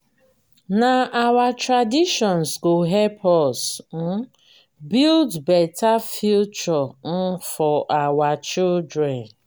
na our traditions go help us um build beta future um for our children.